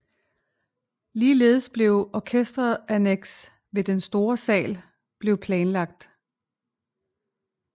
Ligeledes blev et orkesteranneks ved den store sal blev planlagt